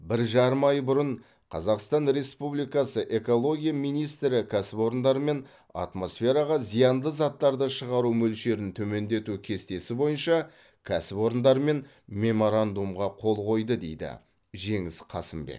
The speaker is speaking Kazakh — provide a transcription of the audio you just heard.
бір жарым ай бұрын қазақстан республикасы экология министрі кәсіпорындармен атмосфераға зиянды заттарды шығару мөлшерін төмендету кестесі бойынша кәсіпорындармен меморандумға қол қойды дейді жеңіс қасымбек